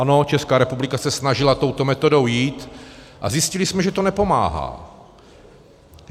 Ano, Česká republika se snažila touto metodou jít a zjistili jsme, že to nepomáhá.